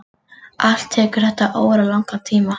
Allt tekur þetta óralangan tíma.